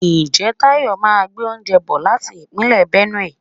Ǹjẹ́ Tayọ máa gbé oúnjẹ bò láti Ìpínlẹ̀ Benue?